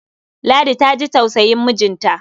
Ladi ta ji tausayin mijinta.